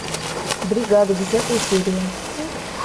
бригада десятая серия